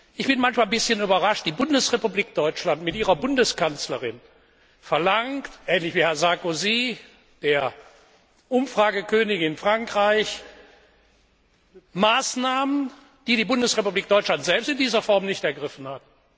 Ich bin manchmal ein bisschen überrascht Die Bundesrepublik Deutschland mit ihrer Bundeskanzlerin verlangt ähnlich wie Herr Sarkozy der Umfragekönig in Frankreich Maßnahmen, die die Bundesrepublik Deutschland selbst in dieser Form nicht ergriffen hat.